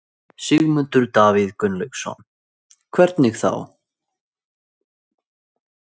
Sigmundur Davíð Gunnlaugsson: Hvernig þá?